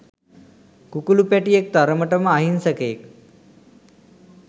කුකුලු පැටියෙක් තරමටම අහින්සකයෙක්